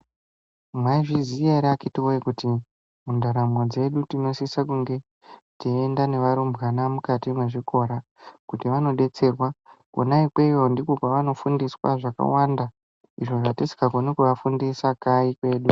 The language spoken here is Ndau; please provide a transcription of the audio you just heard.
Mwaizviziya ere akiti woye kuti mundaramo dzedu tinosisa kunge teiyenda nevarumbwana mukati mwezvikora kuti vanobetserwa ,konanikweyo ndiko kwavano fundiswa zvakawanda izvo zvatisingakoni kuvafundisa kayi kwedu.